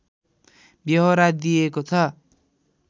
व्यहोरा दिइएको छ